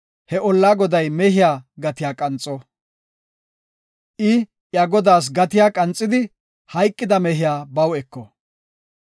he ollaa goday mehiya gatiya qanxo. I iya godaas gatiya qanxidi, hayqida mehiya baw eko.